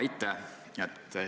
Aitäh!